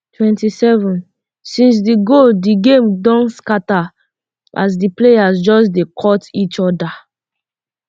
twenty-sevensince um di goal di game don dey scata as di players just dey cot each oda